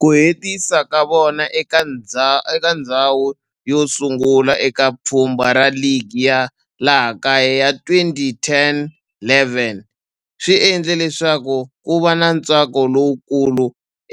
Ku hetisa ka vona eka ndzhawu yosungula eka pfhumba ra ligi ya laha kaya ya 2010-11 swi endle leswaku kuva na ntsako lowukulu